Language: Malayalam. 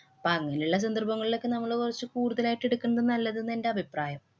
പ്പ അങ്ങനെയുള്ള സന്ദര്‍ഭങ്ങളിലൊക്കെ നമ്മള് കുറച്ചു കൂടുതലായിട്ട് ഇടുക്കുന്ന നല്ലതെന്ന് എന്‍റെ അഭിപ്രായം.